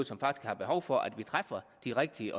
som faktisk har behov for at vi træffer de rigtige